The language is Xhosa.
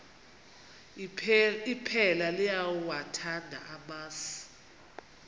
iphela liyawathanda amasi